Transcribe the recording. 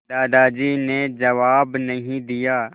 दादाजी ने जवाब नहीं दिया